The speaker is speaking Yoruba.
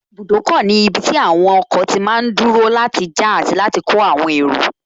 Ibùdókọ̀ ní ibi tí àwọn ọkọ̀ máa tí n dúró láti já àti láti kó àwọn èrò